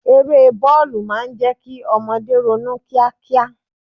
Eré bọ́ọ̀lù máa ń jẹ́ kí ọmọdé ronú kíá kíá.